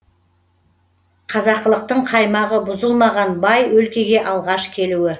қазақылықтың қаймағы бұзылмаған бай өлкеге алғаш келуі